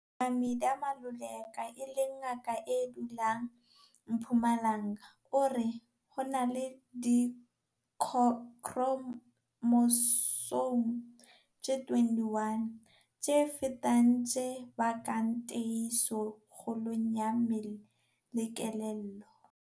Ngaka Midah Maluleka, e leng ngaka e dulang Mpumalanga o re. Ho na le dikhromosome tse 21 tse fetang tse bakang tiehiso kgolong ya mmele le kelello.